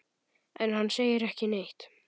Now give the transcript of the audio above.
En hann segir ekki neitt.